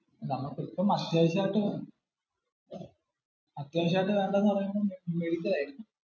നമുക്കു ഇപ്പം അത്യാവശ്യം ആയിട്ട് വേണ്ടത് എന്ന് പറയുമ്പോ medical ആയിരിക്കും.